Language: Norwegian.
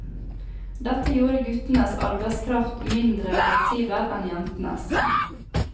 Dette gjorde guttenes arbeidskraft mindre fleksibel enn jentenes.